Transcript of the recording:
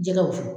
Jɛgɛ wusu